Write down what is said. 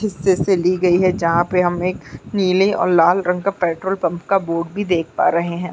हिस्से से ली गयी है जहाँ पे हम एक नीले और लाल रंग के पेट्रोल पंप का बोर्ड भी देख पा रहे हैं।